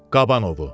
Kabanovu.